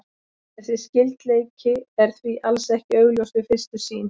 Þessi skyldleiki er því alls ekki augljós við fyrstu sýn.